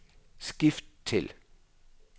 skift til